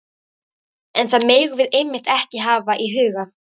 En það megum við einmitt ekki hafa í huga.